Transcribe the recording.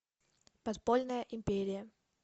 подпольная империя